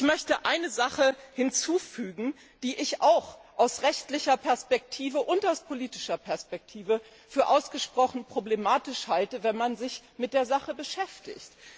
Ich möchte etwas hinzufügen, was ich auch aus rechtlicher und politischer Perspektive für ausgesprochen problematisch halte, wenn man sich mit der Sache beschäftigt.